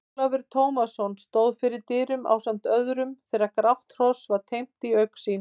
Ólafur Tómasson stóð fyrir dyrum ásamt öðrum þegar grátt hross var teymt í augsýn.